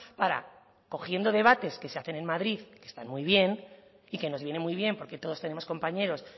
para cogiendo debates que se hacen en madrid que están muy bien y que nos viene muy bien porque todos tenemos compañeros